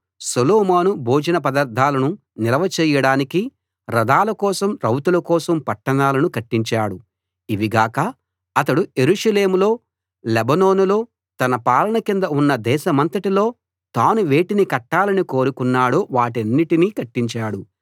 సొలొమోను భోజన పదార్థాలను నిల్వ చేయడానికి రథాల కోసం రౌతుల కోసం పట్టణాలను కట్టించాడు ఇవి గాక అతడు యెరూషలేములో లెబానోనులో తన పాలన కింద ఉన్న దేశమంతటిలో తాను వేటిని కట్టాలని కోరుకున్నాడో వాటన్నిటినీ కట్టించాడు